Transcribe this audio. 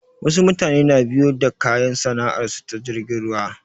Wasu mutane na biyo da kayan sana'ar su ta jirgin ruwa